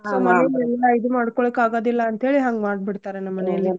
So ಮನೀನ್ ಎಲ್ಲಾ ಇದ್ ಮಾಡ್ಕೋಲಿಕ್ ಆಗೋದಿಲ್ಲ ಅಂತ್ಹೇಳಿ ಹಂಗ್ ಮಾಡ್ಬಿಡ್ತಾರೇ ನಮ್ ಮನೇಲಿ.